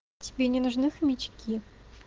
тебе не нужны хомячки